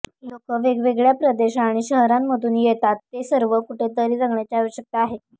लोक वेगवेगळ्या प्रदेश आणि शहरांमधून येतात ते सर्व कुठेतरी जगण्याची आवश्यकता आहे